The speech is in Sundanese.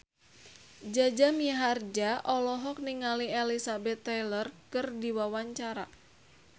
Jaja Mihardja olohok ningali Elizabeth Taylor keur diwawancara